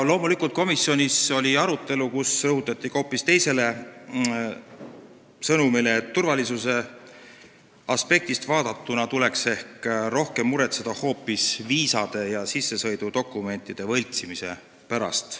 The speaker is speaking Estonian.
Loomulikult oli komisjonis ka arutelu, kus rõhuti hoopis teisele sõnumile, et turvalisuse aspektist vaadatuna tuleks ehk rohkem muretseda hoopis viisade ja sissesõidudokumentide võltsimise pärast.